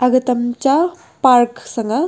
aga tamcha park sang ga.